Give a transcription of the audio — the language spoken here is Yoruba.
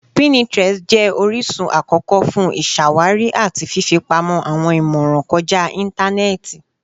Pinterest jẹ orisun akọkọ fun iṣawari ati fifipamọ awọn imọran kọja intanẹẹti.